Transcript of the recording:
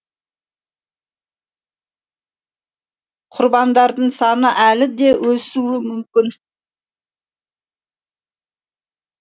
құрбандардың саны әлі де өсуі мүмкін